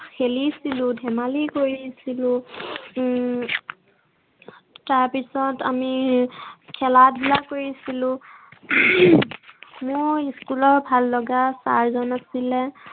খেলিছিলো, ধেমালি কৰিছিলো উম তাৰপিছত আমি খেল- ধূলা কৰিছিলো। মোৰ school ৰ ভল লগা sir জন আছিলে